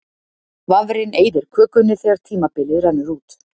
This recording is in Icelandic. Vafrinn eyðir kökunni þegar tímabilið rennur út.